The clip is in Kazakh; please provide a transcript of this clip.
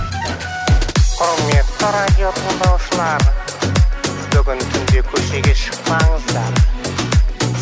құрметті радио тыңдаушылар бүгін түнде көшеге шықпаңыздар